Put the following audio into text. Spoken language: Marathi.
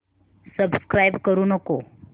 सबस्क्राईब करू नको